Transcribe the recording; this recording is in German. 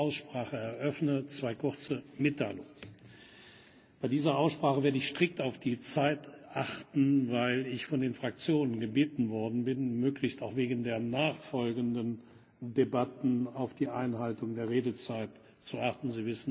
Bevor ich die Aussprache eröffne, zwei kurze Mitteilungen Bei dieser Aussprache werde ich strikt auf die Zeit achten, weil ich von den Fraktionen gebeten worden bin, möglichst auch wegen der nachfolgenden Debatten auf die Einhaltung der Redezeit zu achten.